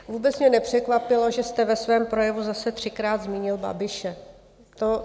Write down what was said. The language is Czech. Vůbec mě nepřekvapilo, že jste ve svém projevu zase třikrát zmínil Babiše.